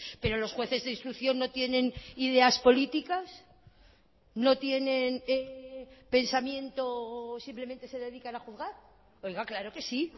pero los jueces de instrucción no tienen ideas políticas no tienen pensamiento simplemente se dedican a juzgar oiga claro que sí